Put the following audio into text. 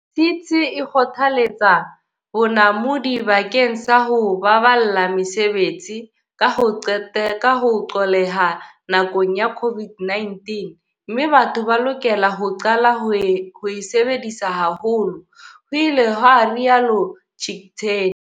CT e kgothaletsa bonamodi bakeng sa ho baballa mesebetsi, ka ho qolleha nakong ya COVID-19, mme batho ba lokela ho qala ho e sebedisa haholo, ho ile ha rialo Chicktay.